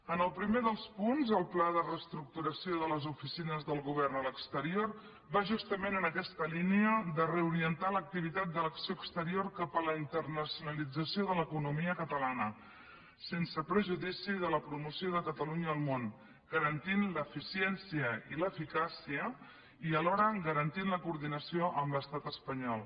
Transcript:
en el primer dels punts el pla de reestructuració de les oficines del govern a l’exterior va justament en aquesta línia de reorientar l’activitat de l’acció exterior cap a la internacionalització de l’economia catalana sense perjudici de la promoció de catalunya al món garantint l’eficiència i l’eficàcia i alhora garantint la coordinació amb l’estat espanyol